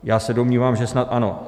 Já se domnívám, že snad ano.